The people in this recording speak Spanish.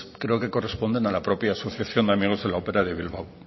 creo que corresponden a la propia asociación de amigos de la opera de bilbao